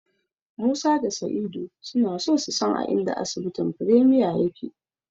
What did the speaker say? Musa da Sa'idu suna so su san a inda asibitin Premier yake.